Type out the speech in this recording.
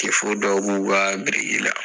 dɔw b'u ka biriki la.